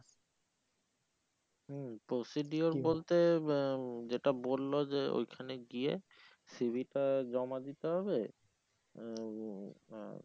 হম procedure বলতে যেইটা বললো যে ওইখানে গিয়ে c. v. টা জমা দিতে হবে আহ